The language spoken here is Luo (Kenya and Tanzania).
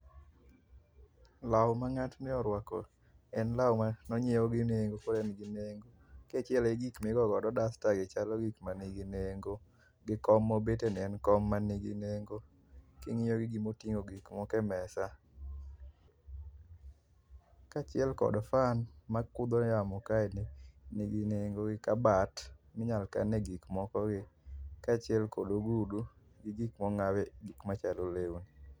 Law ma ngatni orwako en law mane onyiew gi nengo ka en gi nengo. kachiel gi gik migo godo dasta gi chalo gik manigi nengo, gi kom mobeteni en kom manigi nengo. kingiyo gi gik motingo gik moko e mesa, kachiel kod fan makudho yamo kaendi nigi nengo gi kabat minyal kane gik moko kachiel kod ogudu ma gik gik monawe gik maachalo lewni